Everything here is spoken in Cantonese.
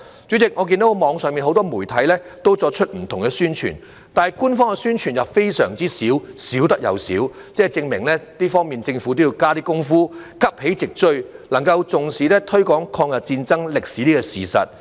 主席，我看到網上很多媒體均作出不同的宣傳，但官方的宣傳卻少之又少，證明在這方面，政府要多加工夫，急起直追，重視推廣抗日戰爭歷史的教育。